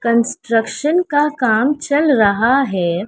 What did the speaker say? Construction का काम चल रहा है।